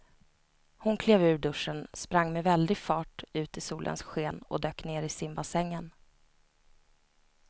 Hon klev ur duschen, sprang med väldig fart ut i solens sken och dök ner i simbassängen.